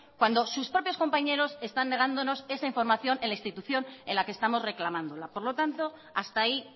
cuando sus propios compañeros están negándonos esa información en la institución en la que estamos reclamándola por lo tanto hasta ahí